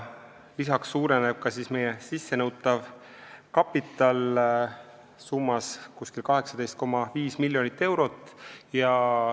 Lisaks suureneb meie sissenõutav kapital umbes 18,5 miljonit eurot.